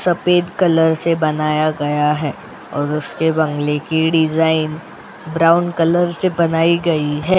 सफेद कलर से बनाया गया है और उसके बंगले की डिजाइन ब्राउन कलर से बनाई गई है.